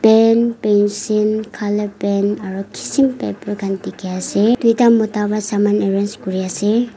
pen pencil color pen aro kisim paper khan dikhi ase duita mota para saman arrange kuri ase.